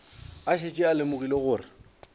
a šetše a lemogile gore